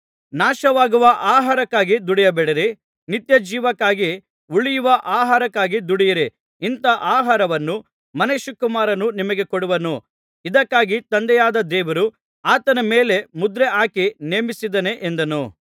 ನಾಶವಾಗುವ ಆಹಾರಕ್ಕಾಗಿ ದುಡಿಯಬೇಡಿರಿ ನಿತ್ಯಜೀವಕ್ಕಾಗಿ ಉಳಿಯುವ ಆಹಾರಕ್ಕಾಗಿ ದುಡಿಯಿರಿ ಇಂಥಾ ಆಹಾರವನ್ನು ಮನುಷ್ಯಕುಮಾರನು ನಿಮಗೆ ಕೊಡುವನು ಇದಕ್ಕಾಗಿ ತಂದೆಯಾದ ದೇವರು ಆತನ ಮೇಲೆ ಮುದ್ರೆ ಹಾಕಿ ನೇಮಿಸಿದ್ದಾನೆ ಎಂದನು